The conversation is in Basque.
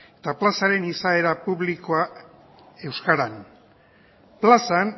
eta plazaren izaera publikoa euskaran plazan